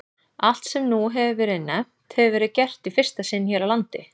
Allt, sem nú hefir verið nefnt, hefir verið gert í fyrsta sinn hér á landi.